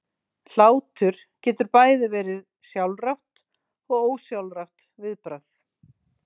Hlátur getur bæði verið sjálfrátt og ósjálfrátt viðbragð.